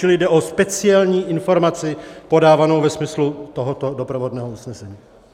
Čili jde o speciální informaci podávanou ve smyslu tohoto doprovodného usnesení.